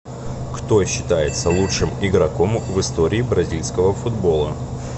кто считается лучшим игроком в истории бразильского футбола